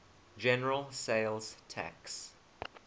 general sales tax